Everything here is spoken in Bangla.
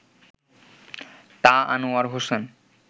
তা আনোয়ার হোসেন